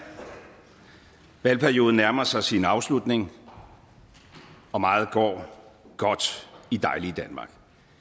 valgperioden nærmer sig sin afslutning og meget går godt i dejlige danmark